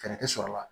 Fɛɛrɛ tɛ sɔrɔ la